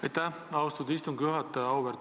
Aitäh, austatud istungi juhataja!